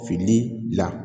Fini la